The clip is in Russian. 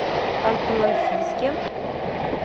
ханты мансийске